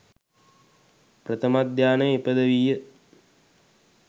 ප්‍රථම ධ්‍යානය ඉපිදවීය.